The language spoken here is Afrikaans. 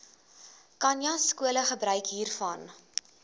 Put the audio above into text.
khanyaskole gebruik hiervan